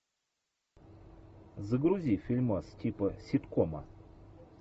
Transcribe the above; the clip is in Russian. загрузи фильмас типа ситкома